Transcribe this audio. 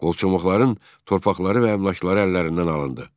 Qolçomaqların torpaqları və əmlakları əllərindən alındı.